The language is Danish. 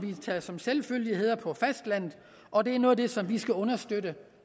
vi tager som selvfølgeligheder på fastlandet og det er noget af det vi skal understøtte